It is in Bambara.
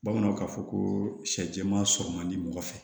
Bamananw k'a fɔ ko sɛ jɛman sɔrɔ man di mɔgɔ fɛ